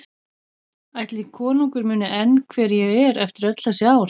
Ætli konungur muni enn hver ég er eftir öll þessi ár?